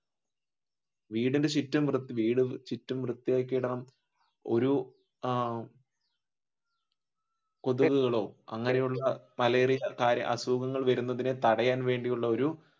വീടിനു ചുറ്റും വീട് ചുറ്റും വൃത്തി ആക്കി ഇടണം ഒരു ആഹ് അസുഖങ്ങൾ വരുന്നതിന് തടയാൻ വേണ്ടിയുള്ള ഒരു